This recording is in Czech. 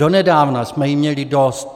Donedávna jsme jí měli dost.